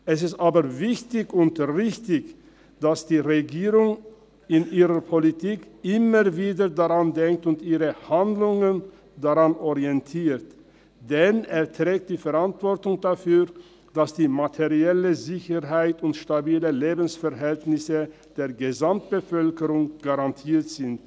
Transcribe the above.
Es ist jedoch wichtig und richtig, dass die Regierung in ihrer Politik immer wieder daran denkt und ihre Handlungen daran orientiert, denn sie trägt die Verantwortung dafür, dass die materielle Sicherheit und die stabilen Lebensverhältnisse der Gesamtbevölkerung garantiert sind.